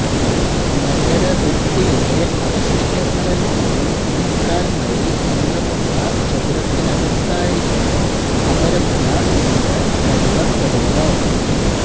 നഗര ഭിത്തിയുടെ അവശിഷ്ടങ്ങളിൽനിന്നും മുക്കാൽ മൈൽ നീളമുള്ള ചതുരത്തിനകത്തായിരുന്നു അമരപുര എന്ന് കരുതപ്പെടുന്നു